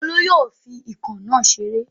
Olú yóò fi ikán náà náà ṣeré.